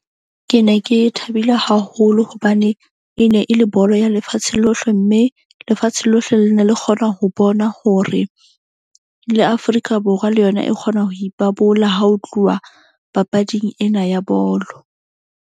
Ke ne ke thabile haholo hobane e ne e le bolo ya lefatshe lohle. Mme lefatshe lohle le na le kgona ho bona hore le Afrika Borwa le yona e kgona ho ipabola ha ho tluwa papading ena ya bolo.